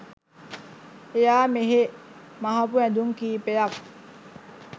එයා මෙහේ මහපු ඇඳුම් කීපයක්